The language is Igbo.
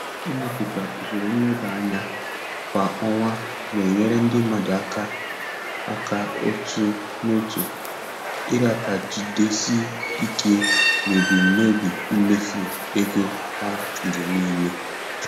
Ịmepụta usoro nleba anya kwa ọnwa na-enyere ndị mmadụ aka aka otu n'otu ịrapagidesi ike n'ebumnobi mmefu ego ha oge niile.